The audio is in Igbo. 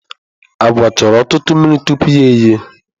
Agwa chọrọ ọtụtụ mmiri tupu ya ehie.